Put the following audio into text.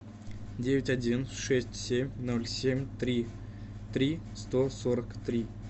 девять один шесть семь ноль семь три три сто сорок три